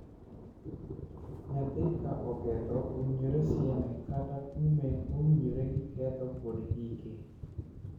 Nyathi ka oketho, owinjore sieme kata kume mowinjore gi ketho kod hike.